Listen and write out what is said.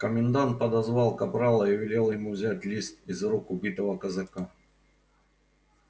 комендант подозвал капрала и велел ему взять лист из рук убитого казака